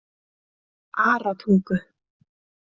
Aratungu